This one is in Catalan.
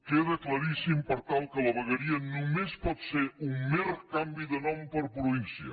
queda claríssim per tant que la vegueria només pot ser un mer canvi de nom per província